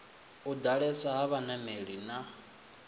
u ḓalesa ha vhanameli na